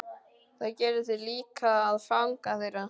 Það gerir þig líka að fanga þeirra.